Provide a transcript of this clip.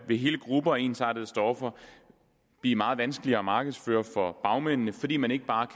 vil hele grupper af ensartede stoffer blive meget vanskeligere at markedsføre for bagmændene fordi man ikke bare